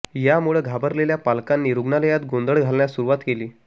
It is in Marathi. यामुळं घाबरलेल्या पालकांनी रुग्णालयात गोंधळ घालण्यास सुरुवात केली